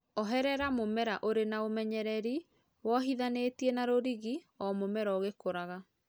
oherera mũmera ũrĩ na ũmenyererĩ wohĩthanĩtĩe na rũrĩgĩ o mũmera ũgĩkũraga